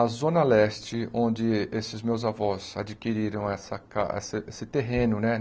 A Zona Leste, onde esses meus avós adquiriram essa ca esse esse terreno, né?